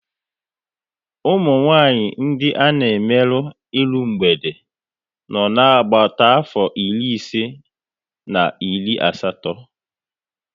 Umunwanyị ndị a na emerụ iru mgbede nọ na agbata afọ iri ise na iri asatọ